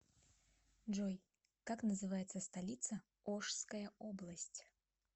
джой как называется столица ошская область